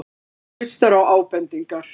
Hann hlustar á ábendingar.